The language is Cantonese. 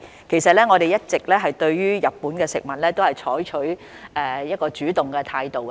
其實，我們一直對日本食品採取主動的態度。